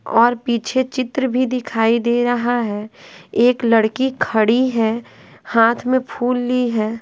और पीछे चित्र भी दिखाई दे रहा है एक लड़की खड़ी है हाथ में फूल ली है।